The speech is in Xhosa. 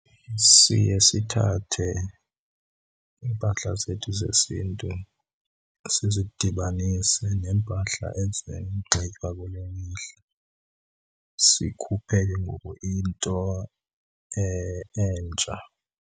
Siye sithathe iimpahla zethu zesiNtu sizidibanise neempahla ezinxitywa kule mihla, sikhuphe ke ngoku into entsha.